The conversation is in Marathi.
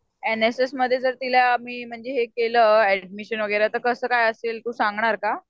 एन एस एस मध्ये म्हणजे तिला मी म्हणजे हे केलं ऍडमिशन तर कसं काय असेल तू सांगणार का?